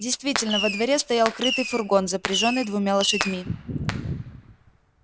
действительно во дворе стоял крытый фургон запряжённый двумя лошадьми